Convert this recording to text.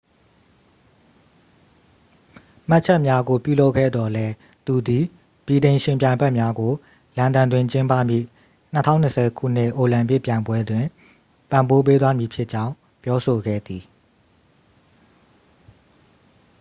မှတ်ချက်များကို ပြုလုပ်ခဲ့သော်လည်း သူသည် ဗြိတိန် ယှဉ်ပြိုင်ဖက်များကို လန်ဒန်တွင် ကျင်းပမည့် 2020 ခုနှစ် အိုလံပစ်ပြိုင်ပွဲတွင် ပံ့ပိုးပေးသွားမည်ဖြစ်ကြောင်း ပြောဆိုခဲ့သည်